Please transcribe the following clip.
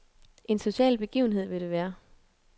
En social begivenhed vil det være.